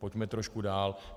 Pojďme trošku dál.